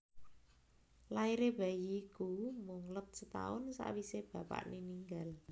Lairé bayi iku mung let setaun sawisé bapakné ninggal